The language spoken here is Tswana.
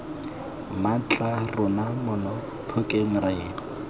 mmatla rona mono phokeng re